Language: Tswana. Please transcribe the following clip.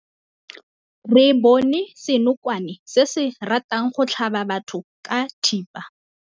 Re bone senokwane se se ratang go tlhaba batho ka thipa.